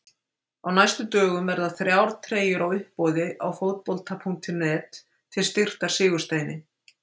Á næstu dögum verða þrjá treyjur á uppboði á Fótbolta.net til styrktar Sigursteini.